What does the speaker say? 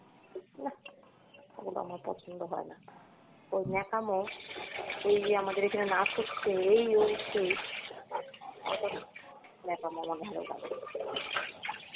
নাহ ওটা আমার পছন্দ হয়না, ওই ন্যাকামো ওই যে আমাদের এখানে নাচ হচ্ছে, এই হচ্ছে, এতো ন্যাকামো আমার ভালো লাগে না।